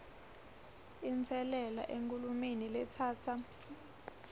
inselele enkhulumeni letsatsa